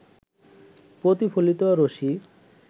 প্রতিফলিত রশ্মি